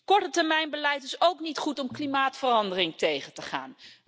Kortetermijnbeleid is ook niet goed om klimaatverandering tegen te gaan.